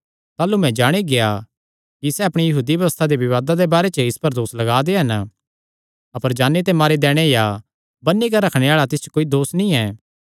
ताह़लू मैं जाणी गेआ कि सैह़ अपणी यहूदी व्यबस्था दे विवादां दे बारे च इस पर दोस लग्गा दे हन अपर जान्नी ते मारी दैणे या बन्नी करी रखणे आल़ा तिस च कोई दोस नीं